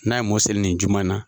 N'a ye mɔnw seli nin juma in na.